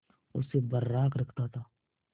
उसे बर्राक रखता था